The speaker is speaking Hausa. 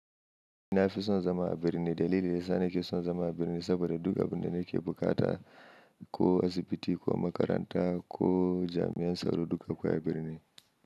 Na fi son zama a birni. Dalili da ya sa na ke son zama a birni saboda duk abin da na ke bukata ko asibiti ko makaranta ko jami'an tsaro duk akwai a birni.